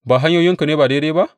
Ba hanyoyinku ne ba daidai ba?